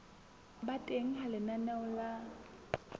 ba teng ha lenaneo la